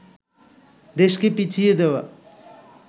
দেশকে পিছিয়ে দেওয়া